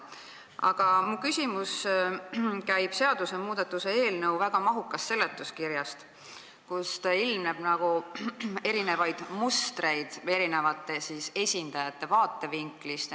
Aga minu küsimus käib eelnõu väga mahuka seletuskirja kohta, kust ilmneb erinevaid mustreid eri esindajate vaatevinklist.